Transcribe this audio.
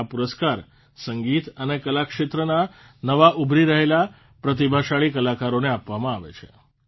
આ પુરસ્કાર સંગીત અને કલા ક્ષેત્રના નવા ઉભરી રહેલા પ્રતિભાશાળી કલાકારોને આપવામાં આવે છે